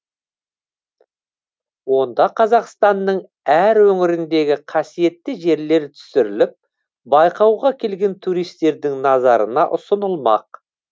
онда қазақстанның әр өңіріндегі қасиетті жерлер түсіріліп байқауға келген туристердің назарына ұсынылмақ